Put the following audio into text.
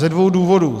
Ze dvou důvodů.